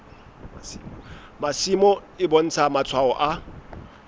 masimo e bontsha matshwao a